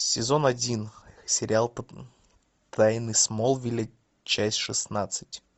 сезон один сериал тайны смолвиля часть шестнадцать